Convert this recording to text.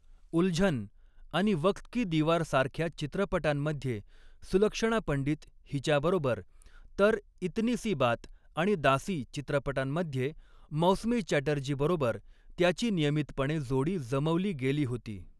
'उल्झन' आणि 'वक्त की दिवार'सारख्या चित्रपटांमध्ये सुलक्षणा पंडित हिच्याबरोबर, तर 'इतनी सी बात' आणि 'दासी' चित्रपटांमध्ये मौसमी चॅटर्जीबरोबर त्याची नियमितपणे जोडी जमवली गेली होती.